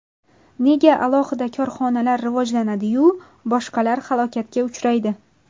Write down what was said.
Nega alohida korxonalar rivojlanadi-yu, boshqalar halokatga uchraydi?